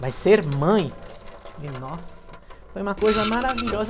Mas ser mãe, nossa, foi uma coisa maravilhosa.